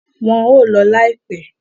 Wọ́n ń lọ láìpẹ́.